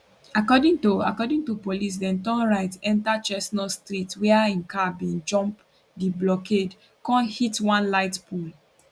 according to according to police dem turn right enta chestnut street wia im car bin jump di blockade con hit one light pole